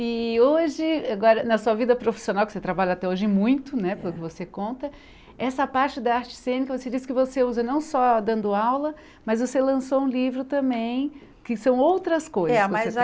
E hoje, agora na sua vida profissional, que você trabalha até hoje muito, né, pelo que você conta, essa parte da arte cênica, você disse que você usa não só dando aula, mas você lançou um livro também, que são outras coisas É mas